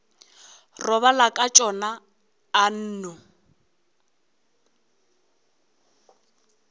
robala ka tšona a nno